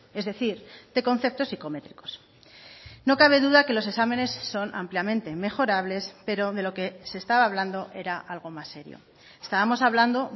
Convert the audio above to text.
es decir de conceptos psicométricos no cabe duda que los exámenes son ampliamente mejorables pero de lo que se estaba hablando era algo más serio estábamos hablando